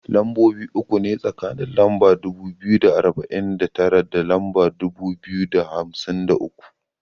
Lambobi uku ne tsakanin lamba dubu biyu da arba'in da tara da lamba dubu biyu da hamsin da uku.